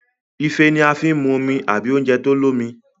Ife ní a fín mú omí àbí oúnjẹ tó l'omi